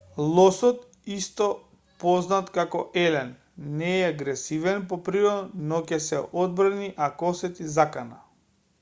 лосот исто познат како елен не е агресивен по природа но ќе се одбрани ако осети закана